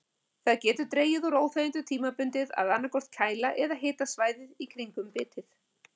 Það getur dregið úr óþægindunum tímabundið að annaðhvort kæla eða hita svæðið í kringum bitið.